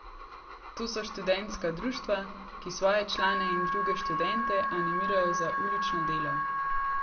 To so študentska društva, ki svoje člane in druge študente animirajo za ulično delo.